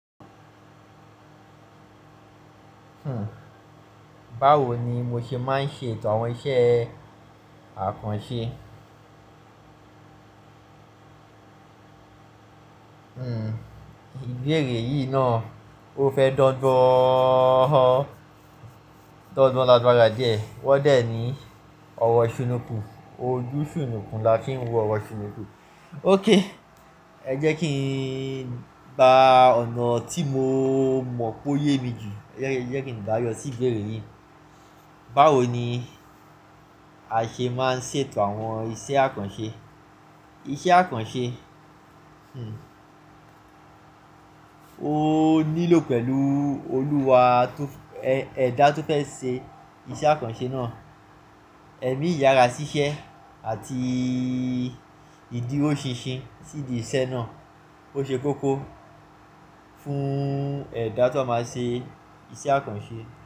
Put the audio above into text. Báwo ni mo ṣe máa ń ṣe ètò àwọn iṣẹ́ àkànṣe? Ìbéèrè yìí náà ó fẹ́ dọ́dọ̀ọ́ lágbára díẹ̀. Wọ́n dẹ̀ ní ọ̀wọ̀ shùnùkùn, ojú shùnùkùn la kí ń wọ ọ̀wọ̀ shùnùkùn. Óké, ẹ jẹ́ kí n ba ọ̀nà tí mo mọ̀ pé ó yemi jù, ẹ jẹ́ kí n dáyọ sí ìbéèrè yìí. Báwo ni a ṣe máa ń ṣe ètò àwọn iṣẹ́ àkànṣe? Iṣẹ́ àkànṣe, ó nílò pẹ̀lú olúwa tó-- ẹ̀dá tó fẹ́ ṣe iṣẹ́ àkànṣe náà, ẹ̀mí ìyàrá ṣíṣe àti ìdíro ṣin sín si ìdí iṣẹ́ náà. Ó ṣe kókó fún ẹ̀dá tó máa ṣe iṣẹ́ àkànṣe.